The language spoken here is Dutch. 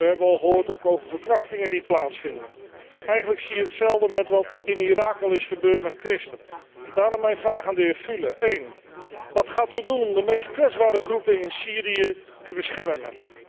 We hebben ook al gehoord over verkrachtingen die plaatsvinden. Eigenlijk zie je hetzelfde gebeuren als wat in Irak al is gebeurd met christenen. Daarom mijn vraag aan de heer Fühle 1. Wat gaat u doen om de meest kwetsbare groepen in Syrië te beschermen?